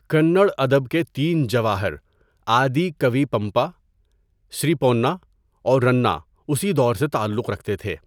کنڑ ادب کے تین جواہر آدی کَوی پمپا، سری پونّا اور رنّا اسی دور سے تعلق رکھتے تھے۔